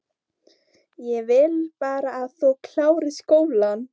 Ég vil bara að þú klárir skólann